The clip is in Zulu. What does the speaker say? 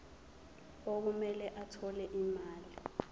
okumele athole imali